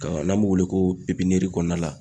Ka n'an b'o wele ko kɔnɔna la.